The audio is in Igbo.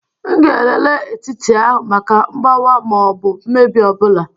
M ga-elele etiti ahụ maka mgbawa ma ọ bụ mmebi ọ bụla.